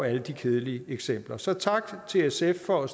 alle de kedelige eksempler så tak til sf for at